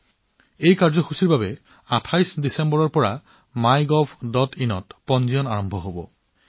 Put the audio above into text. দুদিন পিছত কাৰ্যসূচীটোৰ পঞ্জীয়ন MyGovinত ২৮ ডিচেম্বৰৰ পৰা আৰম্ভ হব